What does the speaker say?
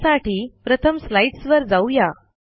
त्यासाठी प्रथम स्लाईडस वर जाऊ या